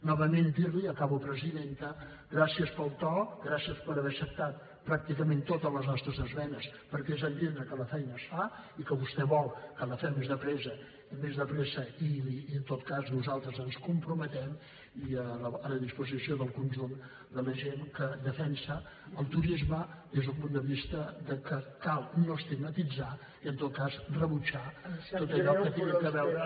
novament dir li i acabo presidenta que gràcies pel to gràcies per haver acceptat pràcticament totes les nostres esmenes perquè és entendre que la feina es fa i que vostè vol que la fem més de pressa i en tot cas nosaltres ens hi comprometem i a la disposició del conjunt de la gent que defensa el turisme des d’un punt de vista de que cal no estigmatitzar i en tot cas rebutjar tot allò que tingui a veure